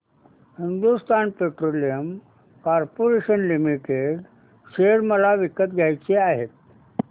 Hindustan Petroleum Corporation Limited share मला विकत घ्यायचे आहेत